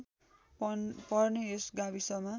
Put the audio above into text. पर्ने यस गाविसमा